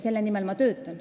Selle nimel ma töötan.